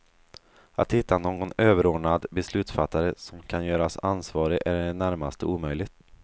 Att hitta någon överordnad beslutsfattare som kan göras ansvarig är i det närmaste omöjligt.